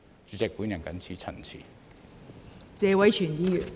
代理主席，我謹此陳辭。